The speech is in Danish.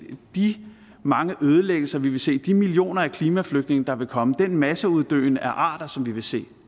de mange ødelæggelser vi vil se de millioner af klimaflygtninge der vil komme den masseuddøen af arter som vi vil se